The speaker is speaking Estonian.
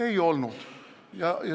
Ei olnud!